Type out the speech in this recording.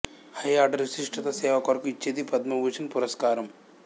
high order విశిష్ట సేవ కొరకు ఇచ్చేది పద్మభూషణ్ పురస్కారం